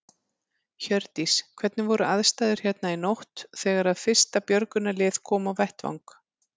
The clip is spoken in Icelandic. Hjördís: Hvernig voru aðstæður hérna í nótt þegar að fyrsta björgunarlið kom á vettvang?